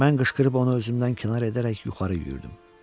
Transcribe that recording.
Mən qışqırıb onu özümdən kənar edərək yuxarı yürüyürdüm.